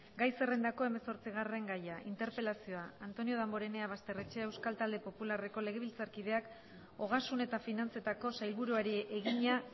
gai zerrendako hemezortzigarren gaia interpelazioa antonio damborenea basterrechea euskal talde popularreko legebiltzarkideak ogasun eta finantzetako sailburuari egina